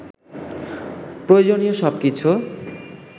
প্রয়োজনীয় সব কিছু